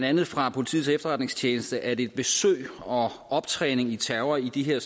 andet fra politiets efterretningstjeneste at et besøg og optræning i terror i de her